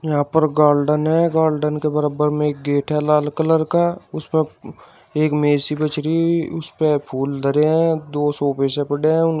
यहां पर गाल्डन है गाल्डन के बराबर में एक गेट है लाल कलर का उस पे एक मेज सी बिछ रही उसपे फूल धरें है दो सोफे से पड़े है उन --